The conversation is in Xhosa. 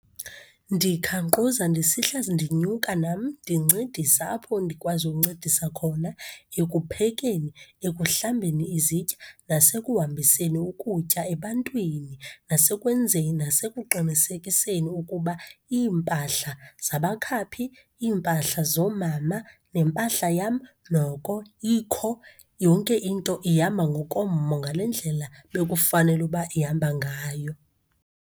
Ndikhanquza, ndisihla ndinyuka, nam ndincedisa apho ndikwazi uncedisa khona ekuphekeni, ekuhlambeni izitya, nasekuhambiseni ukutya ebantwini. Nasekwenzeni nasekuqinisekiseni ukuba iimpahla zabakhaphi, iimpahla zoomama, nempahla yam noko ikho. Yonke into ihamba ngokommo, ngale ndlela bekufanele uba ihamba ngayo.